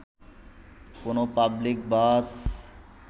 কোন পাবলিক বাস